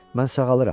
Mən sağalıram.